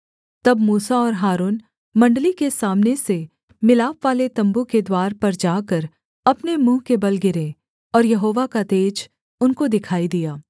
तब मूसा और हारून मण्डली के सामने से मिलापवाले तम्बू के द्वार पर जाकर अपने मुँह के बल गिरे और यहोवा का तेज उनको दिखाई दिया